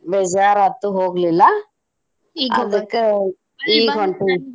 ಬೇಜಾರ ಆತು ಹೋಗ್ಲಿಲ್ಲ ಈಗ್ ಹೊಂಟೆನಿ.